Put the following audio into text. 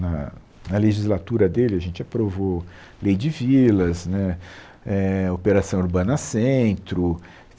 Na na legislatura dele, a gente aprovou lei de vilas né eh, operação Urbana Centro.